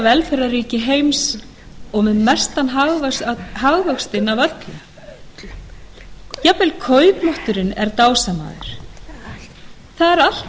velferðarríki heims og með mestan hagvöxtinn af öllum jafnvel kaupmátturinn er dásamaður það er allt í